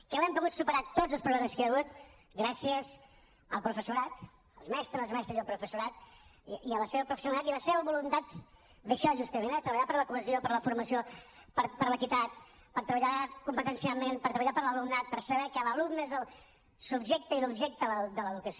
que els hem pogut superar tots els problemes que hi ha hagut gràcies al professorat als mestres les mestres i al professorat i a la seva professionalitat i a la seva voluntat d’això justament eh de treballar per la cohesió per la formació per l’equitat per treballar competencialment per treballar per l’alumnat per saber que l’alumne és el subjecte i l’objecte de l’educació